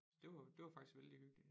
Det var det var faktisk vældig hyggelig